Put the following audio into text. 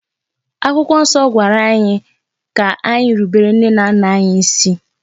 Akwụkwọ nsọ gwara anyị ka anyi rubere nne na nna anyi isi.